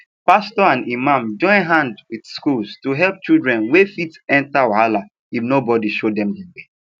pastor and imam join hand with schools to help children wey fit enter wahala if nobody show dem de way